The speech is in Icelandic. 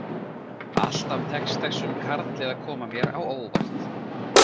Alltaf tekst þessum karli að koma mér á óvart.